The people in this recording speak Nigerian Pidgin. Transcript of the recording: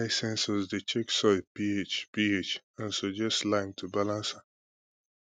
ai sensors dey check soil ph ph and suggest lime to balance am